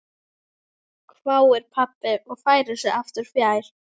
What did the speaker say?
hváir pabbi og færir sig aftur fjær.